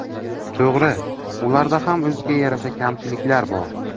To‘g‘ri, ularda ham o‘ziga yarasha kamchiliklar bor.